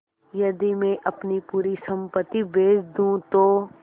यदि मैं अपनी पूरी सम्पति बेच दूँ तो